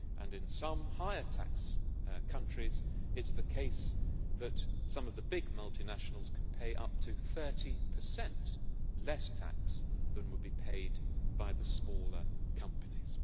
In some higher tax countries it is the case that some of the big multinationals can pay up to 30 less tax than would be paid by the smaller companies.